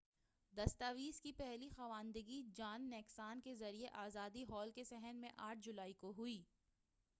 دستاویز کی پہلی خواندگی جان نیکسان کے ذریعے آزادی ہال کے صحن میں 8 جولائی کو ہوئی